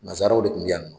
Nazaraw de tun bɛ yan nɔ